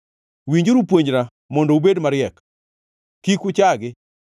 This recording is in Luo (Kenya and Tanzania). Winjuru puonjna mondo ubed mariek, kik uchagi.